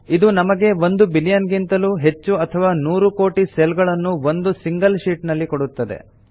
ಇದು ನಮಗೆ ಒಂದು ಬಿಲಿಯನ್ ಗಿಂತಲೂ ಹೆಚ್ಚು ಅಥವಾ ನೂರು ಕೋಟಿ ಸೆಲ್ ಗಳನ್ನು ಒಂದು ಸಿಂಗಲ್ ಶೀಟ್ ನಲ್ಲಿ ಕೊಡುತ್ತದೆ